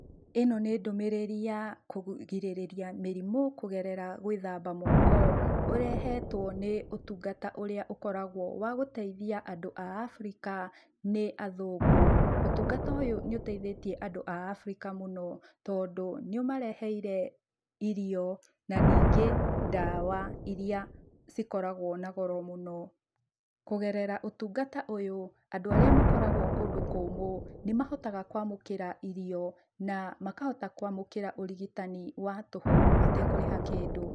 Ĩno nĩ ndũmũrĩri ya kũgirĩrĩria mĩrimũ kũgerera gwĩthamba moko. Ũrehetwo nĩ ũtungata ũrĩa ũkoragwo wagũteithia andũ a Africa nĩ athũngũ. Ũtungata ũyũ nĩ ũteithĩtie andũ a Africa mũno tondũ nĩ ũmareheire irio na ningĩ ndawa iria cikoragwo na goro mũno. Kũgerera ũtungata ũyũ, andũ arĩa makoragwo kũndũ kũmũ nĩ mahotaga kwamũkĩra irio na makahota kwamũkĩra ũrigitani wa tũhũ matekũrĩha kĩndũ.